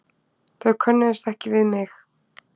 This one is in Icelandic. Þau könnuðust ekki við mig.